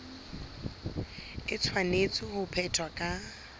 e tshwanetse ho phethwa ka